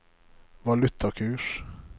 valutakurs